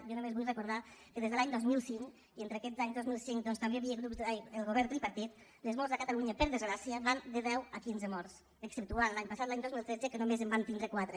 jo només vull recordar que des de l’any dos mil cinc i entre aquests anys doncs també hi havia el govern tripartit les morts a catalunya per desgràcia van de deu a quinze morts exceptuant l’any passat l’any dos mil tretze que només en vam tindre quatre